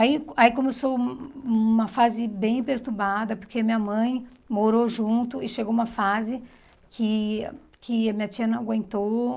Aí aí começou uma fase bem perturbada, porque minha mãe morou junto e chegou uma fase que que a minha tia não aguentou.